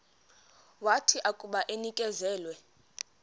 wathi akuba enikezelwe